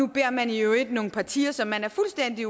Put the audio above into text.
beder man i øvrigt nogle partier som man er fuldstændig